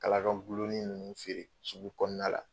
Kala ka gulennen ninnu feere sugu kɔnɔna la.